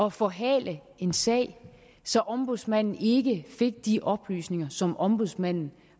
at forhale en sag så ombudsmanden ikke fik de oplysninger som ombudsmanden